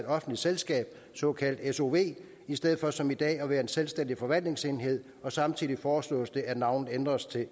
offentligt selskab et såkaldt sov i stedet for som i dag at være en selvstændig forvaltningsenhed samtidig foreslås det at navnet ændres til